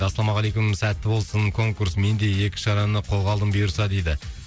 ассалаумағалейкум сәтті болсын конкурс менде екі шараны қолға алдым бұйырса дейді